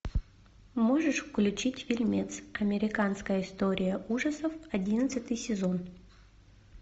можешь включить фильмец американская история ужасов одиннадцатый сезон